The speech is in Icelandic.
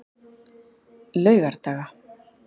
laugardaga